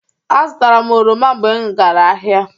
Azụtara m oroma mgbe m gara ahịa.